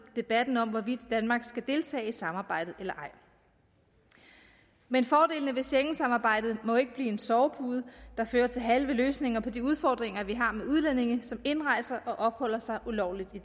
debatten om hvorvidt danmark skal deltage i samarbejdet eller ej men fordelene ved schengensamarbejdet må ikke blive en sovepude der fører til halve løsninger på de udfordringer vi har med udlændinge som indrejser og opholder sig ulovligt i